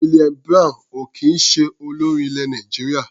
Williams Brown ò kì í ṣe olórin ilẹ̀ Nàìjíríà.